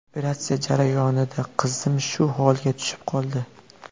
Operatsiya jarayonida qizim shu holga tushib qoldi.